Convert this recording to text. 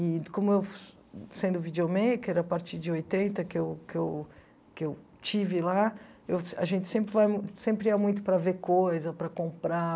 E como eu, sendo videomaker, a partir de oitenta, que eu que eu que eu estive lá, eu a gente sempre vai sempre vai muito para ver coisas, para comprar